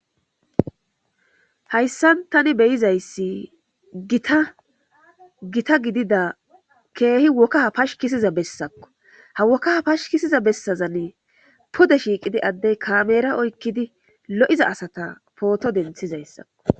Hayssan tani be7izassi gita gita gidida keehi woka pashkkisiza bassakko ha woka pashkkisiza bessazani pude shiiqidi addey kaamera oykkidi lo7iza asata pooto denthizatakko.